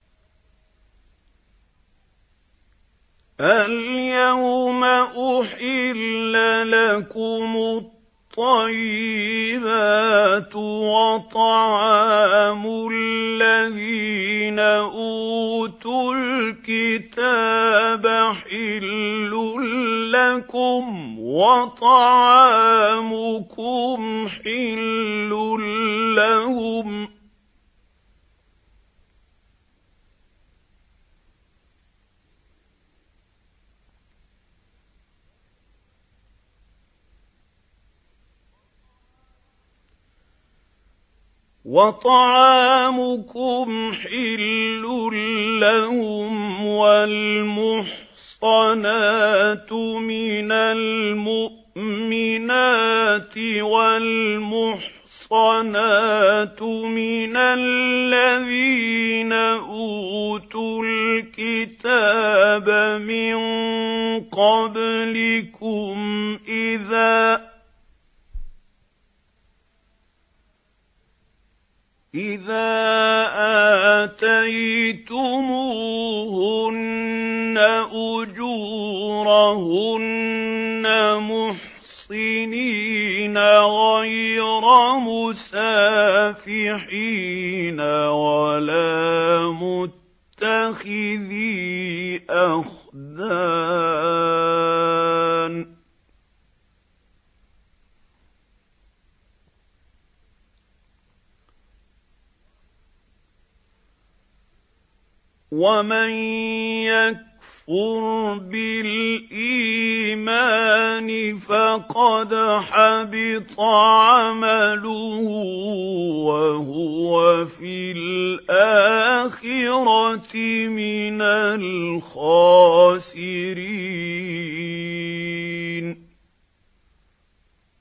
الْيَوْمَ أُحِلَّ لَكُمُ الطَّيِّبَاتُ ۖ وَطَعَامُ الَّذِينَ أُوتُوا الْكِتَابَ حِلٌّ لَّكُمْ وَطَعَامُكُمْ حِلٌّ لَّهُمْ ۖ وَالْمُحْصَنَاتُ مِنَ الْمُؤْمِنَاتِ وَالْمُحْصَنَاتُ مِنَ الَّذِينَ أُوتُوا الْكِتَابَ مِن قَبْلِكُمْ إِذَا آتَيْتُمُوهُنَّ أُجُورَهُنَّ مُحْصِنِينَ غَيْرَ مُسَافِحِينَ وَلَا مُتَّخِذِي أَخْدَانٍ ۗ وَمَن يَكْفُرْ بِالْإِيمَانِ فَقَدْ حَبِطَ عَمَلُهُ وَهُوَ فِي الْآخِرَةِ مِنَ الْخَاسِرِينَ